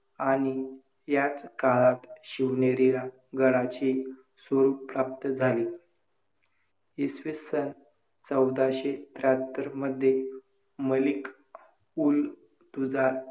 आणि याच काळात शिवनेरीला गडाचे स्वरूप प्राप्त झाले. इसवी सन चौदाशे त्र्याहत्तरमध्ये मलिक– उल–तुजार